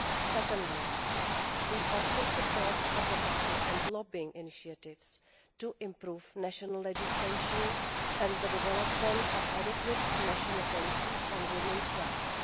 Secondly, we also support advocacy and lobbying initiatives to improve national legislation and the development of suitable national policies on women's rights.